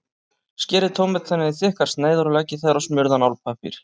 Skerið tómatana í þykkar sneiðar og leggið þær á smurðan álpappír.